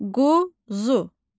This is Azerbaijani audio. Quzu.